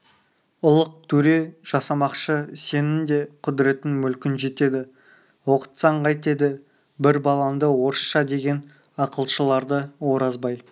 ұлық төре жасамақшы сенің де құдіретің мүлкін жетеді оқытсаң қайтеді бір балаңды орысша деген ақылшыларды оразбай